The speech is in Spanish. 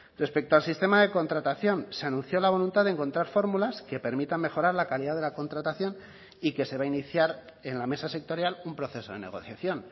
respecto al sistema de contratación se anunció la voluntad de encontrar fórmulas que permitan mejorar la calidad de la contratación y que se va a iniciar en la mesa sectorial un proceso de negociación